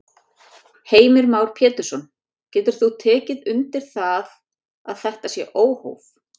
Heimir Már Pétursson: Getur þú tekið undir það að þetta sé óhóf?